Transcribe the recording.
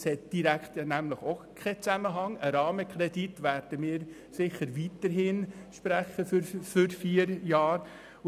Das hat keinen direkten Zusammenhang, denn wir werden sicher weiterhin einen Rahmenkredit für vier Jahre sprechen.